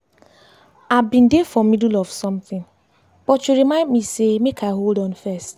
i been dey for middle of something but you remind me say make i hold on first.